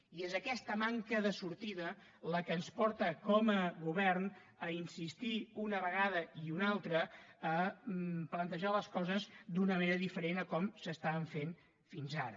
i és aquesta manca de sortida la que ens porta com a govern a insistir una vegada i una altra a plantejar les coses d’una manera diferent de com s’estaven fent fins ara